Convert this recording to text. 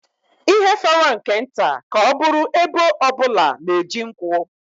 Ihe fọrọ nke nta ka ọ bụrụ ebo ọ bụla na-eji nkwụ